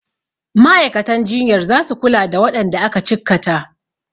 Ma'aikatan jinyar zasu kula da waɗanda aka cikkata.